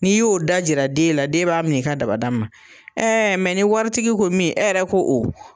N'i y'o da jira den la de b'a minɛ i ka dabada ma ɛɛ mɛ ni waritigi ko min e yɛrɛ ko o